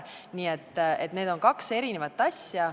Nii et need on kaks eri asja.